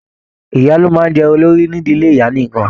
Ìyá ló máa n jẹ olórí n'ídílé ìyá nìkan.